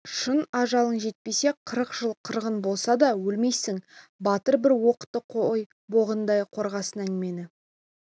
шын ажалың жетпесе қырық жыл қырғын болса да өлмейсің батыр бір оқтық қой боғындай қорғасын әңгімені